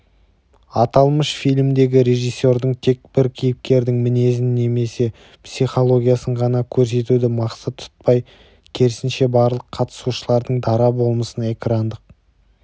аталмыш фильмдегі режиссердің тек бір кейіпкердің мінезін немесе психологиясын ғана көрсетуді мақсат тұтпай керісінше барлық қатысушылардың дара болмысын экрандық